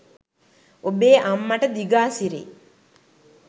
ඔබේ අම්මට දිගාසිරි